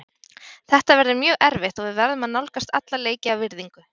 Þetta verður mjög erfitt og við verðum að nálgast alla leiki af virðingu.